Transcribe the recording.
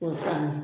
K'o sanna